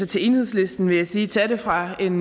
til enhedslisten vil jeg sige tag det fra en